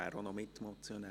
Er ist auch Mitmotionär.